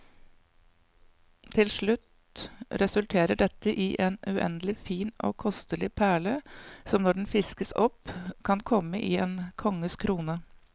Til slutt resulterer dette i en uendelig fin og kostelig perle, som når den fiskes opp kan komme i en konges krone.